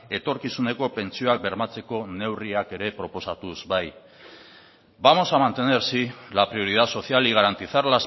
etorkizuneko pentsioak bermatzeko neurriak ere proposatuz bai vamos a mantener sí la prioridad social y garantizar